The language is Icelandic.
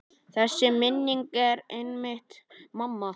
Þessi minning er einmitt mamma.